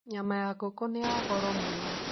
Nyama ya ngũkũ nĩ ya goro mũno.